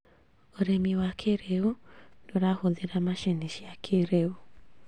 ũrĩmi wa kĩrĩu nĩũrahũthĩra macini cia kĩrĩu